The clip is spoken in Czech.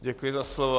Děkuji za slovo.